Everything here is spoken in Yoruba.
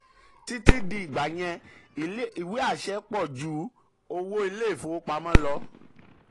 títí di ìgbà yẹn ìgbà yẹn ìwé àṣẹ pọ̀ ju owó ilé ìfowopamọ́ lọ.